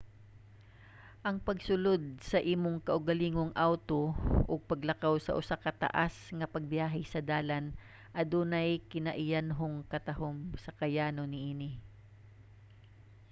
ang pagsulod sa imong kaugalingong awto ug paglakaw sa usa ka taas nga pagbiyahe sa dalan adunay kinaiyanhong katahom sa kayano niini